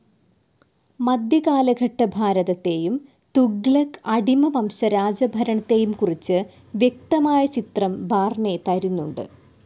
മധ്യകാലഘട്ട ഭാരതത്തെയും, തുഗ്ലക്ക്, അടിമ വംശ രാജഭരണത്തെയും കുറിച്ച് വ്യക്തമായ ചിത്രം ബാർണി തരുന്നുണ്ട്.